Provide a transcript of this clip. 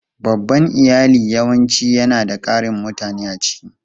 Babban iyali yawanci yana da ƙarin mutane a ciki.